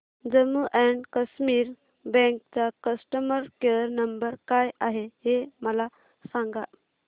Jammu and Kashmir bank चा customer care number काय आहे हे मला सांगा